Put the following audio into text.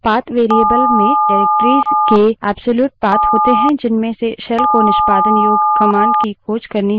path path variable में निर्देशिकाओं directories के एब्सोल्यूट path होते है जिनमें से shell को निष्पादन योग्य command की खोज करनी होती है